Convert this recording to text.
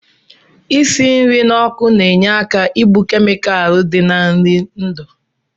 Isi nri n'ọkụ na-enye aka igbu kemikalụ dị na nri ndụ